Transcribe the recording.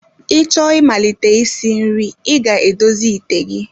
Ị chọọ imalite isi nri, ị ga-edozi ite gị